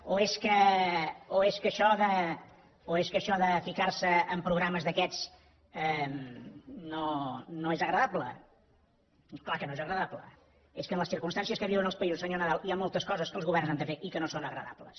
o és que això de ficar se amb programes d’aquests no és agradable és clar que no és agradable és que en les circumstàncies que viuen els països senyor nadal hi ha moltes coses que els governs han de fer i que no són agradables